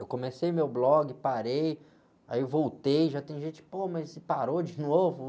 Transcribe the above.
Eu comecei meu blog, parei, aí voltei, já tem gente, pô, mas você parou de novo?